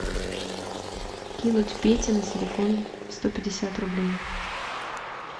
кинуть пете на телефон сто пятьдесят рублей